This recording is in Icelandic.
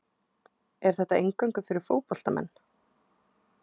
Er þetta eingöngu fyrir fótboltamenn?